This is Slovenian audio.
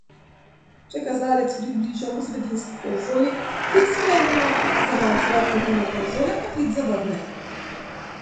Če kazalec približamo sredinski konzoli, klic sprejmemo, zamah z roko mimo konzole pa klic zavrne.